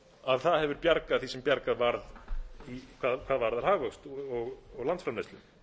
að það hefur bjargað því sem bjargað varð hvað varðar hagvöxt og landsframleiðslu